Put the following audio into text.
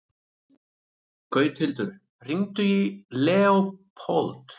Gauthildur, hringdu í Leópold.